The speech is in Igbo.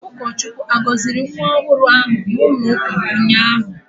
Ụkọchukwu agọziri nwa ọhụrụ ahụ n'ụlọụka ụnyahụ?